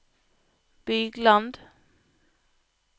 Bygland